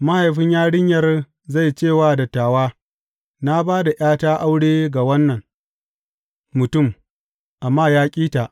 Mahaifin yarinyar zai ce wa dattawa, Na ba da ’yata aure ga wannan mutum, amma ya ƙi ta.